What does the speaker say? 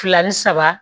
Fila ni saba